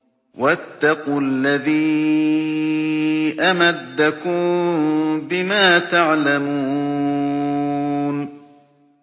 وَاتَّقُوا الَّذِي أَمَدَّكُم بِمَا تَعْلَمُونَ